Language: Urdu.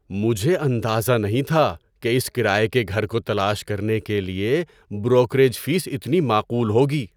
مجھے اندازہ نہیں تھا کہ اس کرایے کے گھر کو تلاش کرنے کے لیے بروکریج فیس اتنی معقول ہوگی!